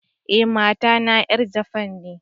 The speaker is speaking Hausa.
Eh, mata na yar Japan ne.